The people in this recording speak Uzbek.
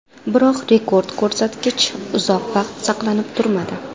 Biroq rekord ko‘rsatkich uzoq vaqt saqlanib turmadi.